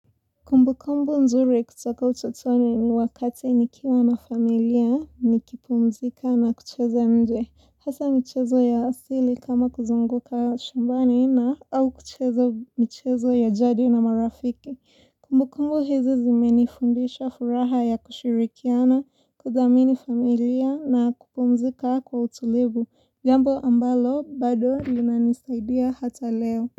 Kumbukumbu nzuri kutoka utotoni ni wakati nikiwa na familia nikipumzika na kucheza nje hasa michezo ya asili kama kuzunguka shambani na au kucheza michezo ya jadi na marafiki. Kumbukumbu hizi zimenifundisha furaha ya kushirikiana kuthamini familia na kupumzika kwa utulivu jambo ambalo bado linanisaidia hata leo.